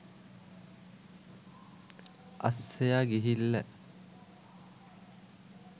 අස්සයා ගිහිල්ල.